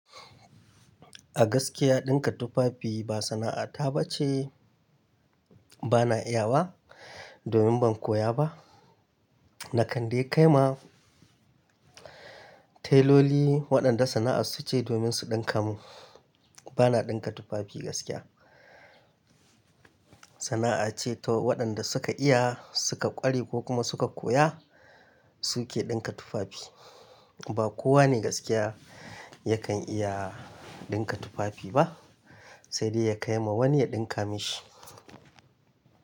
A gaskiya dinka tufafi ba sana'ata ba ce. Bana iya ba domin ban koya ba. Na kande kai ma tailoli waɗanda sana'a su ce domin su dinka mu. Bana dinka tufafi gaskiya. Sana'a ce, to waɗanda suka iya, suka ƙware ko kuma suka koya su ke dinka tufafi. Ba kowane gaskiya yakan iya dinka tufafi ba sai dai ya kai ma wani ya dinka mashi.